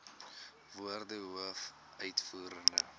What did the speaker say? woorde hoof uitvoerende